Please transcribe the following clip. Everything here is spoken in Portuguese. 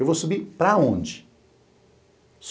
Eu vou subir para onde?